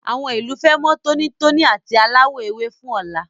Àwọn ìlú fẹ́ mọ́ tónítóní àti aláwọ̀ ewé fún ọ̀la.